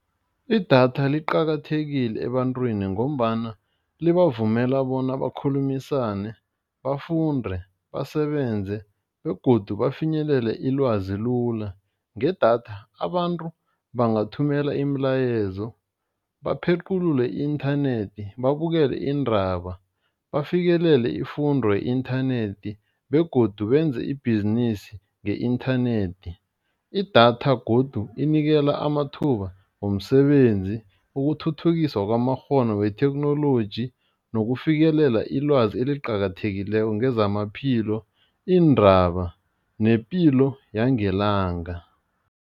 Idatha liqakathekile ebantwini ngombana libavumela bona bakhulumisane, bafunde, basebenze begodu bafinyelele ilwazi lula, ngedatha abantu bangathhumela imilayezo, baphequlule i-inthanethi, babukele iindaba, bafikelele ifundo ye-inthanethi begodu benze ibhizinisi nge-inthanethi. Idatha godu inikela amathuba womsebenzi, ukuthuthukiswa kwamakghono wetheknoloji, nokufikelela ilwazi eziqakathekileko ngezamaphilo, iindaba, nepilo yangelanga.